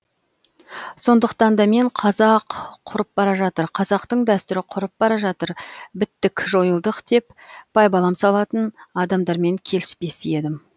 сондықтан да мен қазақ құрып бара жатыр қазақтың дәстүрі құрып бара жатыр біттік жойылдық деп байбалам салатын адамдармен келіспес едім